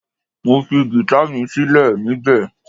Mo fi gita mi silẹ nibẹ